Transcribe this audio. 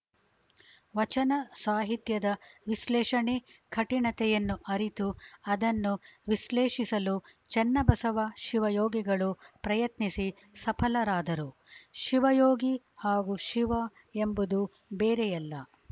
ವಚನ ಸಾಹಿತ್ಯದ ವಿಶ್ಲೇಷಣೆ ಕಠಿಣತೆಯನ್ನು ಅರಿತು ಅದನ್ನು ವಿಶ್ಲೇಸಿಸಲು ಚನ್ನಬಸವ ಶಿವಯೋಗಿಗಳು ಪ್ರಯತ್ನಿಸಿ ಸಫಲರಾದರು ಶಿವಯೋಗಿ ಹಾಗೂ ಶಿವ ಎಂಬುದು ಬೇರೆಯಲ್ಲ